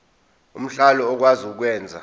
omhlali okwazi ukwenza